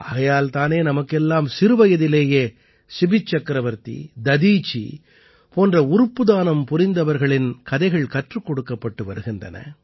ஆகையால் தானே நமக்கெல்லாம் சிறுவயதிலேயே சிபிச்சக்கரவர்த்தி ததீசி போன்ற உறுப்பு தானம் புரிந்தவர்களின் கதைகள் கற்றுக் கொடுக்கப்பட்டு வருகின்றன